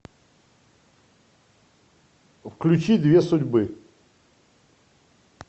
включи две судьбы